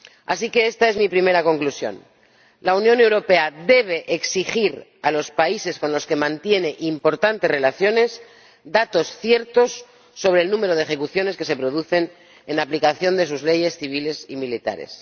Así que, esta es mi primera conclusión la Unión Europea debe exigir a los países con los que mantiene importantes relaciones datos ciertos sobre el número de ejecuciones que se producen en aplicación de sus leyes civiles y militares.